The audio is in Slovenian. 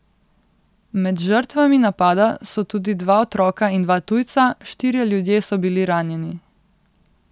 Med žrtvami napada so tudi dva otroka in dva tujca, štirje ljudje so bili ranjeni.